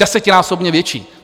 Desetinásobně větší!